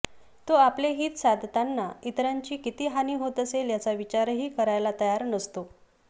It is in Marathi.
तो आपले हित साधताना इतरांची किती हानी होत असेल याचा विचारही करायला तयार नसतो